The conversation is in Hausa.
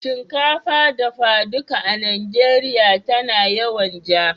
Shinkafar dafa duka a Najeriya tana yawan ja.